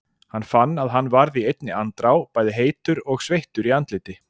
Hann fann að hann varð í einni andrá bæði heitur og sveittur í andliti.